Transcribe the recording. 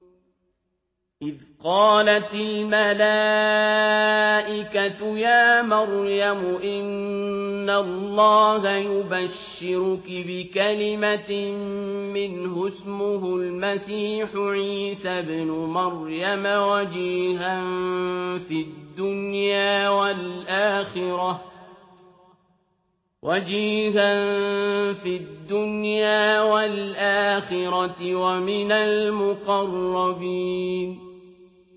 إِذْ قَالَتِ الْمَلَائِكَةُ يَا مَرْيَمُ إِنَّ اللَّهَ يُبَشِّرُكِ بِكَلِمَةٍ مِّنْهُ اسْمُهُ الْمَسِيحُ عِيسَى ابْنُ مَرْيَمَ وَجِيهًا فِي الدُّنْيَا وَالْآخِرَةِ وَمِنَ الْمُقَرَّبِينَ